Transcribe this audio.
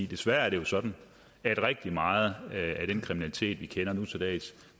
desværre er sådan at rigtig meget af den kriminalitet vi kender nu til dags